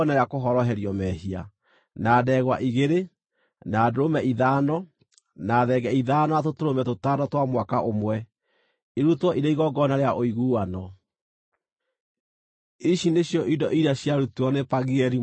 na ndegwa igĩrĩ, na ndũrũme ithano, na thenge ithano na tũtũrũme tũtano twa mwaka ũmwe, irutwo irĩ igongona rĩa ũiguano. Ici nĩcio indo iria ciarutirwo nĩ Pagieli mũrũ wa Okirani.